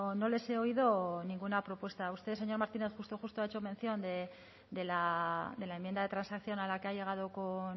no les he oído ninguna propuesta a usted señor martínez justo ha hecho mención de la enmienda de transacción a la que ha llegado